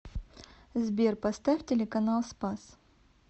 сбер поставь телеканал спас